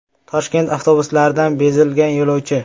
Toshkent avtobuslaridan bezigan yo‘lovchi.